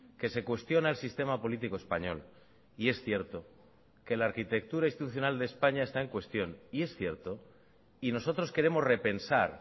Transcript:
que se cuestiona el sistema político español y es cierto que la arquitectura institucional de españa está en cuestión y es cierto y nosotros queremos repensar